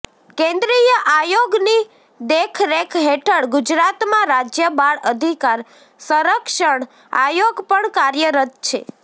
કેન્દ્રીય આયોગની દેખરેખ હેઠળ ગુજરાતમાં રાજ્ય બાળ અધિકાર સંરક્ષણ આયોગ પણ કાર્યરત છે